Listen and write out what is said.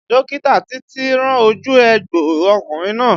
Dókítà títí rán ojú egbò ọkùnrin náà